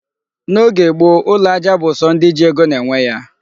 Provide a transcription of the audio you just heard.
N'oge gboo, ụlọ aja bụ sọ ndị ji ego na-enwe ya.